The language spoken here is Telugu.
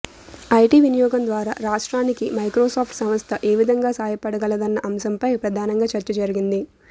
ఐటి వినియోగం ద్వారా రాష్ట్రానికి మైక్రోసాఫ్ట్ సంస్థ ఏవిధంగా సాయపడగలదన్న అంశంపై ప్రధానంగా చర్చ జరిగింది